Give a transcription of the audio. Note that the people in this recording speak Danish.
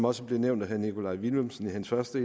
også blev nævnt af herre nikolaj villumsen i hans første